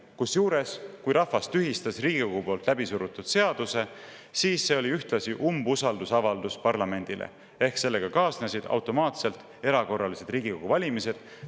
Kusjuures, kui rahvas tühistas Riigikogu poolt läbi surutud seaduse, siis see oli ühtlasi umbusaldusavaldus parlamendile ja sellega kaasnesid automaatselt erakorralised Riigikogu valimised.